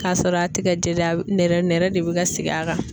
K'a sɔrɔ a tɛ ka jɛ dɛ a bɛ nɛrɛ nɛrɛ de bɛ ka sigi a kan.